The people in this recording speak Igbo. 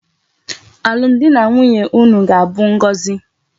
Alum di na nwunye unu ga abu ngozi